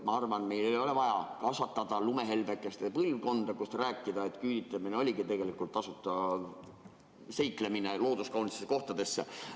Ma arvan, meil ei ole vaja kasvatada lumehelbekeste põlvkonda ja rääkida, et küüditamine oli tegelikult tasuta seiklus looduskaunitesse kohtadesse.